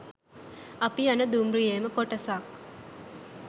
අපි යන දුම්රියේම කොටසක්